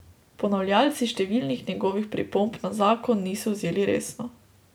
Ponavljalci številnih njegovih pripomb na zakon niso vzeli resno.